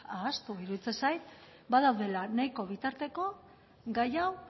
iruditzen zait badaudela nahiko bitarteko gai hau